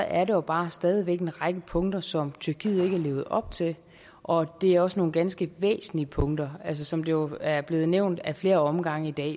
er der bare stadig væk en række punkter som tyrkiet ikke har levet op til og det er også nogle ganske væsentlige punkter altså som det jo er blevet nævnt ad flere omgange i dag